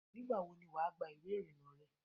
Nígbàwo ni wà á gba ìwé ìrìnnà rẹ?